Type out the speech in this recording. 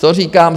Co říkám?